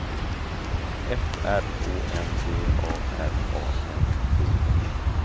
F R Å N V A R A N D E